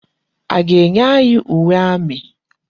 A ga-enye anyị uwe amị?